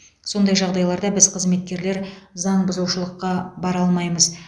сондай жағдайларда біз қызметкерлер заңбұзушылыққа бара алмаймыз